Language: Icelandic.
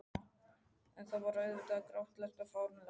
En þetta var auðvitað grátlegt og fáránlegt.